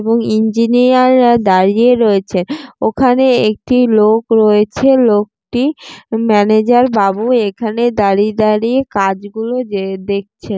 এবং ইঞ্জিনিয়ার -রা দাঁড়িয়ে রয়েছে। ওখানে একটি লোক রয়েছে। লোকটি ম্যানেজার বাবু। এখানে দাঁড়িয়ে দাঁড়িয়ে কাজগুলো যে দেখছেন।